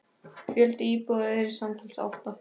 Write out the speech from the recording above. Fjöldi íbúða yrði samtals átta.